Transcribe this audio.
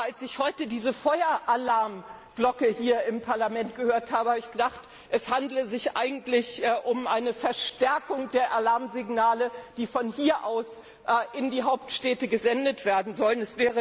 als ich. Aber als ich heute diese Feueralarmglocke hier im Parlament gehört habe, dachte ich, es handele sich eigentlich um eine Verstärkung der Alarmsignale, die von hier aus in die Hauptstädte gesendet werden